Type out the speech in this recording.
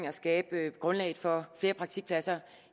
skabe grundlaget for flere praktikpladser